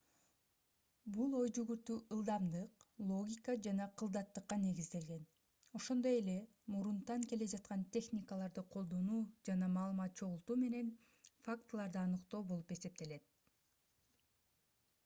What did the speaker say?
бул ой-жүгүртүү ылдамдык логика жана кылдаттыкка негизделген ошондой эле мурунтан келе жаткан техникаларды колдонуу жана маалымат чогултуу менен фактыларды аныктоо болуп эсептелет